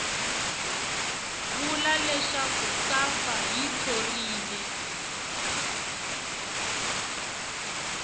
vula leswaku safa yi thorile